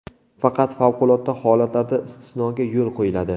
Faqat favqulodda holatlarda istisnoga yo‘l qo‘yiladi.